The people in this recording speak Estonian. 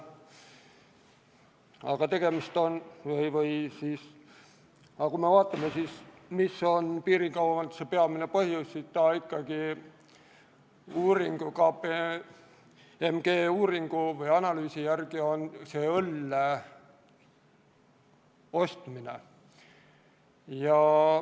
Aga kui me vaatame, mis on piirikaubanduse peamine põhjus, siis KPMG uuringu või analüüsi järgi on see õlle ostmine.